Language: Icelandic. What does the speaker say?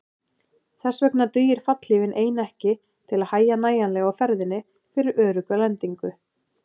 Þess vegna dugir fallhlífin ein ekki til að hægja nægjanlega á ferðinni fyrir örugga lendingu.